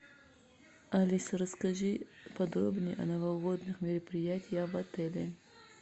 алиса расскажи подробнее о новогодних мероприятиях в отеле